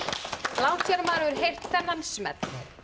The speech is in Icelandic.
langt síðan maður hefur heyrt þennan smell